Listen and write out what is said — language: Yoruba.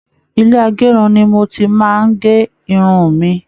Ilé agérun ní mo ti máa n gé irun mí.